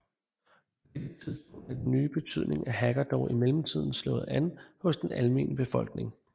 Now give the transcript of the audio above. På dette tidspunkt havde den nye betydning af hacker dog i mellemtiden slået an hos den almene befolkning